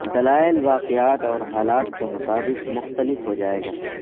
دلائل واقعات اور حالات کے مطابق مختلف ہو جائے گا